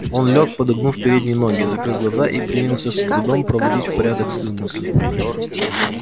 он лёг подогнув передние ноги закрыл глаза и принялся с трудом проводить в порядок свои мысли